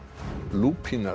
lúpína